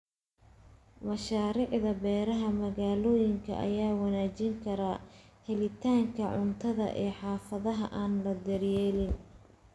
Mashaariicda beeraha magaalooyinka ayaa wanaajin kara helitaanka cuntada ee xaafadaha aan la daryeelin.